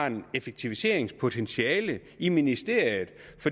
et effektiviseringspotentiale i ministeriet